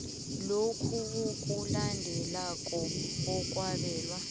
lokhu okulandelako okwabelwa